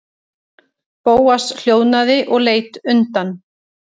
Bóas hljóðnaði og leit undan.